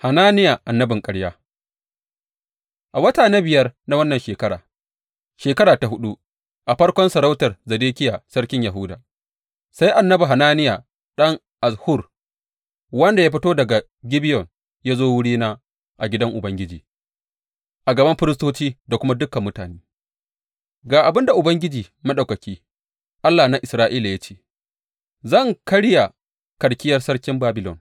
Hananiya annabin ƙarya A wata na biyar na wannan shekara, shekara ta huɗu, a farkon sarautar Zedekiya sarkin Yahuda, sai annabi Hananiya ɗan Azzur, wanda ya fito daga Gibeyon, ya zo wurina a gidan Ubangiji a gaban firistoci da kuma dukan mutane, Ga abin da Ubangiji Maɗaukaki, Allah na Isra’ila ya ce, Zan karya karkiyar sarkin Babilon.